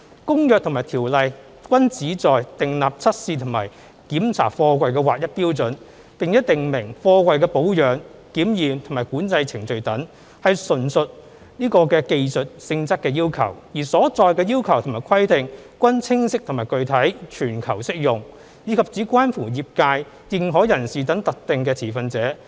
《公約》和《條例》均旨在訂立測試和檢查貨櫃的劃一標準，並訂明貨櫃的保養、檢驗和管制程序等，純屬技術性質要求，而所載的要求和規定均清晰和具體，全球適用，以及只關乎業界、認可人士等特定的持份者。